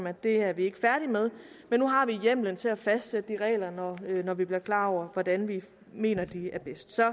at det er vi ikke færdige med men nu har vi hjemlen til at fastsætte de regler når vi bliver klar over hvordan vi mener at de er bedst så